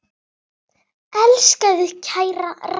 Elska þig, kæra Raggý.